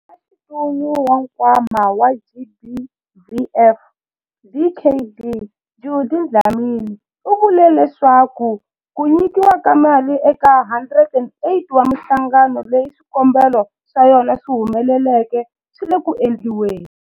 Mutshamaxitulu wa Nkwama wa GBVF, Dkd Judy Dlamini, u vule leswaku ku nyikiwa ka mali eka 108 wa mihlangano leyi swikombelo swa yona swi humeleleke swi le ku endliweni.